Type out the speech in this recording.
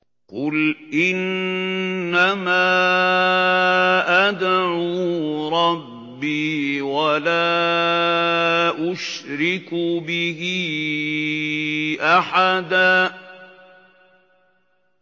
قُلْ إِنَّمَا أَدْعُو رَبِّي وَلَا أُشْرِكُ بِهِ أَحَدًا